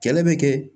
Kɛlɛ bɛ kɛ